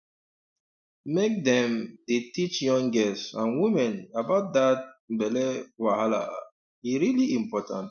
make dem um dey teach young girls and women about that um belly wahala um e really important